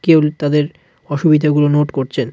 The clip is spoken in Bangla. কেউ তাদের অসুবিধা গুলো নোট করছেন.